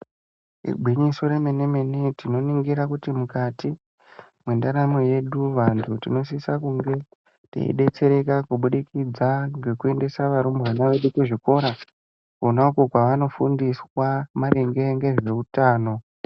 Igwinyiso remene-mene tinoringira kuti mukati mwendaramo yedu vantu tinosisa kunge teibetsereka kubudikidza ngekuendesa varumbwana vedu kuzvikora. Kona uko kwanofundiswa maringe ngezveutano.